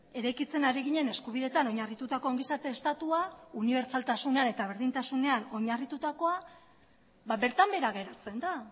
eraikitzen ari ginen eskubidetan oinarritutako ongizate estatua unibertsaltasunean eta berdintasunean oinarritutakoa bertan behera geratzen da